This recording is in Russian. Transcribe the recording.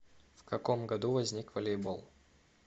в каком году возник волейбол